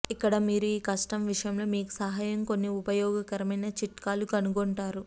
ఇక్కడ మీరు ఈ కష్టం విషయంలో మీకు సహాయం కొన్ని ఉపయోగకరమైన చిట్కాలు కనుగొంటారు